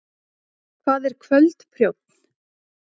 hvað er kvöldprjónn